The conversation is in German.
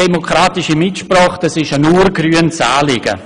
Demokratische Mitsprache ist ein ur-grünes Anliegen.